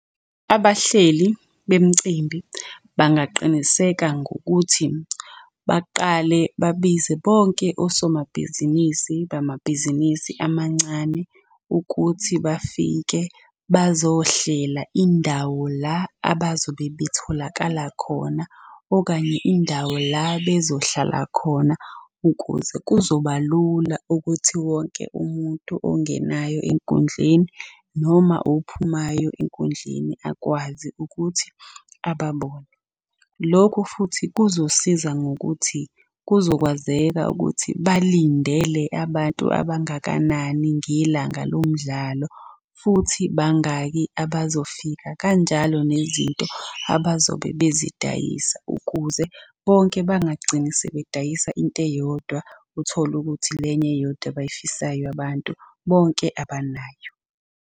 Abahleli bemicimbi bangaqiniseka ngokuthi baqale babize bonke osomabhizinisi bamabhizinisi amancane ukuthi bafike bazohlela indawo la abazobe betholakala khona, okanye indawo la bezohlala khona. Ukuze kuzoba lula ukuthi wonke umuntu ongenayo enkundleni noma ophumayo enkundleni akwazi ukuthi ababone. Lokhu futhi kuzosiza ngokuthi kuzokwazeka ukuthi balindele abantu abangakanani ngelanga lo mdlalo. Futhi bangaki abazofika kanjalo nezinto abazobe bezidayisa ukuze bonke bangagcini sebedayisa into eyodwa, uthole ukuthi le enye eyodwa abay'fisayo abantu bonke abanayo.